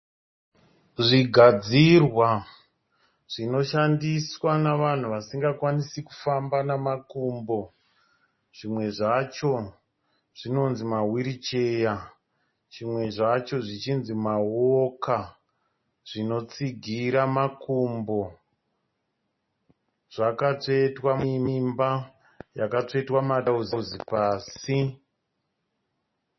Zvigadzirwa zvinoshandiswa nevanhu vasinga kwanisi kufamba nemakumbo. Zvimwe zvacho zvinonzii ma wheel chair , zvimwe zvacho zvichinzi ma walker. Zvinotsigira makumbo zvakatsvetwa muimba yakatsvetwa madozozi pasi.